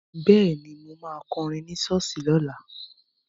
Bẹ́ẹ̀ni, mo ma kọrin ní ṣọ́ọ̀ṣì lọ́la